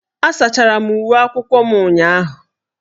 Asachara m uwe akwụkwọ m ụnyahụ.